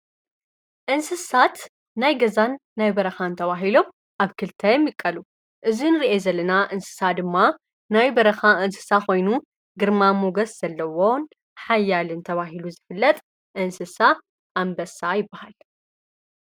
እንስሳት ናይ ገዛን ናይ በረኻ እን ተዋሂሎም ኣብ ክልታ የምቀሉ እዝ ን ርአ ዘለና እንስሳ ድማ ናይ በረኻ እንስሳ ኾይኑ ግርማ ሞገስ ዘለዎን ሓያልን ተዋሂሉ ዝፍለጥ እንስሳ ኣምበሳ ይበሃል።